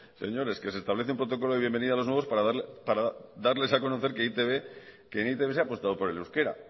señores que se establece un protocolo de bienvenida a los nuevos para darles a conocer que en e i te be se ha apostado por el euskera